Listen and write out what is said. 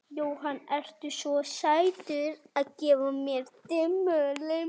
Jóhann: Ertu með bíl?